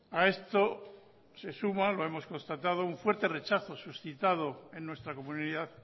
a esto se suma lo hemos constatado un fuerte rechazo suscitado en nuestra comunidad